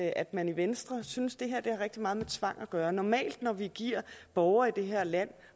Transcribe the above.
at man i venstre synes at det her har rigtig meget med tvang at gøre normalt når vi giver borgere i det her land